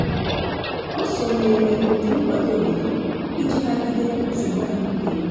Ọ sonyeere otu nkwado obodo iji nagide nsogbu ahụike ya.